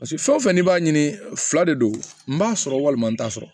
Paseke fɛn o fɛn n'i b'a ɲini fila de don n b'a sɔrɔ walima n t'a sɔrɔ